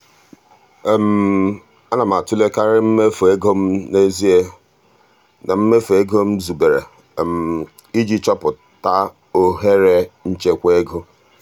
ana m atụlekarị mmefu ego m n'ezie na mmefu ego m zubere iji chọpụta ohere nchekwa ego.